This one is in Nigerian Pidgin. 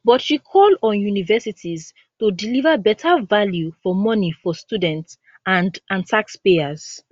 but she call on universities to deliver better value for money for students and and taxpayers